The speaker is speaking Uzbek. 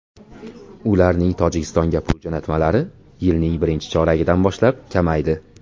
Ularning Tojikistonga pul jo‘natmalari yilning birinchi choragidan boshlab kamaydi.